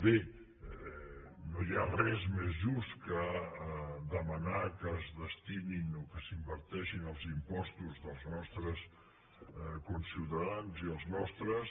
bé no hi ha res més just que demanar que es destinin o que s’inverteixin els impostos dels nostres conciutadans i els nostres